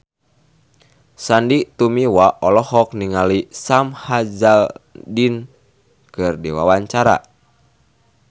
Sandy Tumiwa olohok ningali Sam Hazeldine keur diwawancara